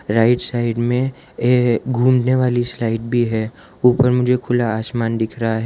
Right side ये घूमने वाली स्लाइड भी है ऊपर मुझे खुला आसमान दिख रहा है।